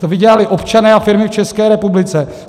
To vydělali občané a firmy v České republice.